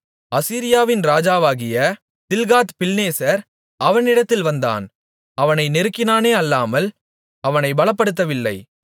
அசீரியாவின் ராஜாவாகிய தில்காத்பில்நேசர் அவனிடத்தில் வந்தான் அவனை நெருக்கினானே அல்லாமல் அவனைப் பலப்படுத்தவில்லை